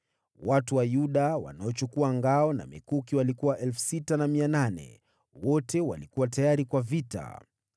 watu wa Yuda, wanaochukua ngao na mikuki walikuwa 6,800 wote wakiwa tayari kwa vita.